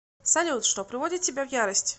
салют что приводит тебя в ярость